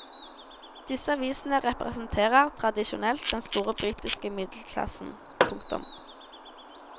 Disse avisene representerer tradisjonelt den store britiske middelklassen. punktum